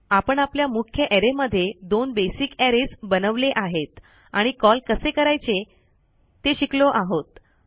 आपण आपल्या मुख्य अरे मध्ये दोन बेसिक अरेज बनवले आहेत आणि कॉल कसे करायचे ते शिकलो आहोत